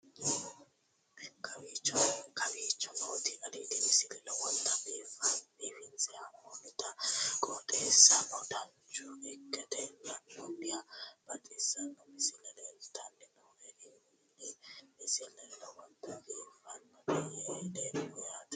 kowicho nooti aliidi misile lowonta biifinse haa'noonniti qooxeessano dancha ikkite la'annohano baxissanno misile leeltanni nooe ini misile lowonta biifffinnote yee hedeemmo yaate